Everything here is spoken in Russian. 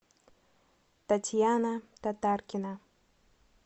татьяна татаркина